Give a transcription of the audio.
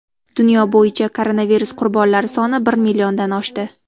Dunyo bo‘yicha koronavirus qurbonlari soni bir milliondan oshdi.